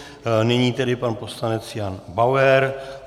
Nyní tedy pan poslanec Jan Bauer.